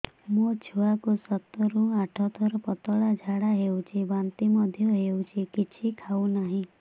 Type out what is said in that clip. ମୋ ଛୁଆ କୁ ସାତ ରୁ ଆଠ ଥର ପତଳା ଝାଡା ହେଉଛି ବାନ୍ତି ମଧ୍ୟ୍ୟ ହେଉଛି କିଛି ଖାଉ ନାହିଁ